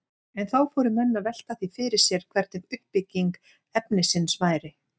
En þá fóru menn að velta því fyrir sér hvernig uppbygging efnisins væri.